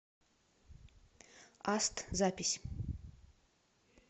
аст запись